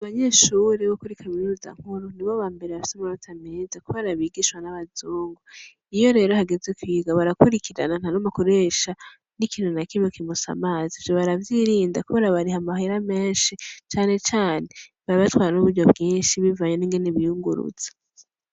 Abanyeshure bo kuri kaminuza nkuru ndi bo ba mbere yassomanota ameza kuba arabigishwa n'abazungu iyo rero hageze kwiga barakurikirana nta nomakuresha n'ikino na kime kimusa amazi vyo baravyirinda kuba arabariha amahera menshi canecane barbatwa n'uburyo bwinshi bivayene ingeneibiyunguruza.